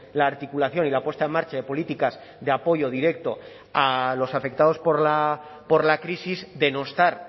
la articulación y la puesta en marcha de políticas de apoyo directo a los afectados por la crisis denostar